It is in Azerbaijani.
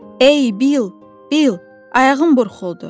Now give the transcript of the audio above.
Ey Bill, Bill, ayağım burxuldu!